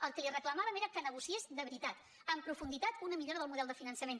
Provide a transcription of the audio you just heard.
el que li reclamàvem era que negociés de veritat en profunditat una millora del model de finançament